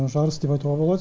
жарыс деп айтуға болады